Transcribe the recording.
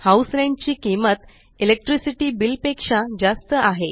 house rent ची किंमत electricity bill पेक्षा जास्त आहे